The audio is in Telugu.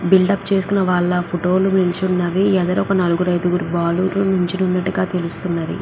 బిల్డ్ అప్ చేస్తున్న వాళ్ళ ఫోటో లు నిల్చున్నవి ఎదర ఒక నలుగురు అయిదుగురు బారుగా నిల్చునట్టుగా తెలుస్తున్నది.